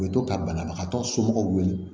U bɛ to ka banabagatɔ somɔgɔw wele